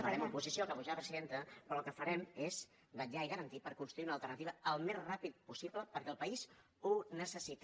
farem oposició acabo ja presidenta però el que farem és vetllar i garantir per construir una alternativa al més ràpidament possible perquè el país ho necessita